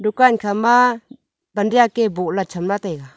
dukan khama pan ziak bohla chamla taiga.